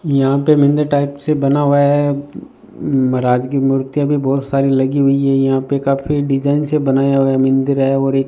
यहां पे mini type से बना हुआ है महाराज की मूर्ति अभी बहुत सारी लगी हुई है यहां पे काफी डिजाइन से बनाया हुआ मंदिर है और एक --